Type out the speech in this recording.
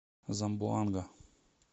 замбоанга